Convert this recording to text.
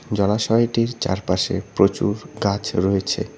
জলাশয়টির চারপাশে প্রচুর গাছ রয়েছে।